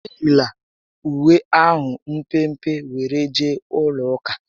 Eyila uwe ahụ mpempe were jee ụlọ ụka!